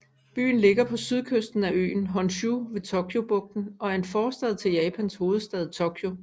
Byen ligger på sydkysten af øen Honshu ved Tokyobugten og er en forstad til Japans hovedstad Tokyo